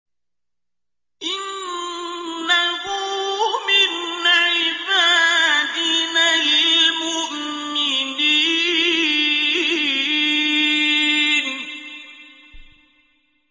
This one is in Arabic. إِنَّهُ مِنْ عِبَادِنَا الْمُؤْمِنِينَ